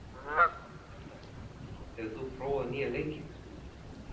Hemmert, hefur þú prófað nýja leikinn?